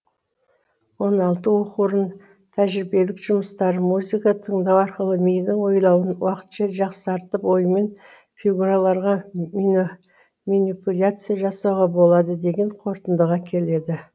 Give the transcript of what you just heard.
он алты оқу орнының тәжірибелік жұмыстары музыка тыңдау арқылы мидың ойлауын уақытша жақсартып оймен фигураларға минипуляция жасауға болады деген қорытындыға келеді